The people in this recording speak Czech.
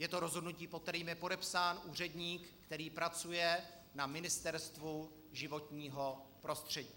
Je to rozhodnutí, pod kterým je podepsán úředník, který pracuje na Ministerstvu životního prostředí.